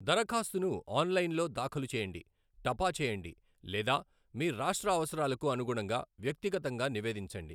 దరఖాస్తును ఆన్లైన్లో దాఖలు చేయండి, టపా చేయండి లేదా మీ రాష్ట్ర అవసరాలకు అనుగుణంగా వ్యక్తిగతంగా నివేదించండి.